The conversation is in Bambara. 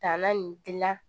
Tanna nin gilan